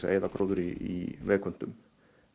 eyða gróðri í vegköntum